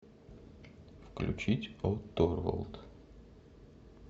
включить о торвалд